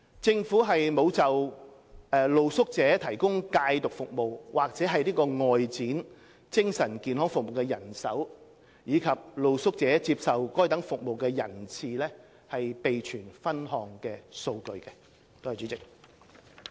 政府沒有就為露宿者提供戒毒服務及外展精神健康服務的人手，以及露宿者接受該等服務的人次備存分項數據。